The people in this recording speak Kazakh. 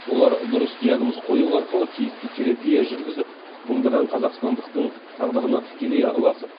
олар дұрыс диагноз қою арқылы тиісті терапия жүргізіп мыңдаған қазақстандықтың тағдырына тікелей араласып